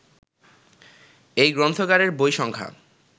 এই গ্রন্থাগারের বই সংখ্যা